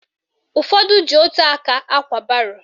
Ụfọdụ ji ótù aka ákwà baro